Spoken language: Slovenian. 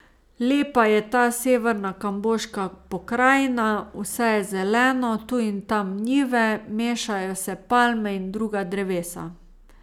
Lepa je ta severna kamboška pokrajina, vse je zeleno, tu in tam njive, mešajo se palme in druga drevesa.